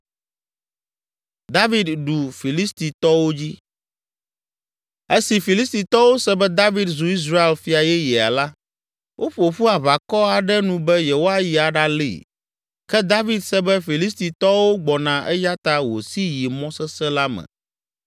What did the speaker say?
Esi Filistitɔwo se be David zu Israel fia yeyea la, woƒo ƒu aʋakɔ aɖe nu be yewoayi aɖalée. Ke David se be Filistitɔwo gbɔna eya ta wòsi yi mɔ sesẽ la me.